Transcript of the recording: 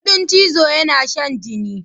Ƙudin chizo yana shan jini.